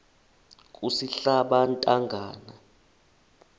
kusihlabantangana